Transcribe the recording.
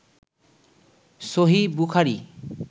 সহীহ Bukhari